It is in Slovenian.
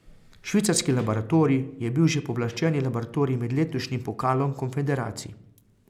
Švicarski laboratorij je bil že pooblaščeni laboratorij med letošnjim pokalom konfederacij.